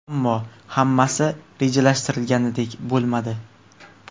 Ammo hammasi rejalashtirilganidek bo‘lmadi.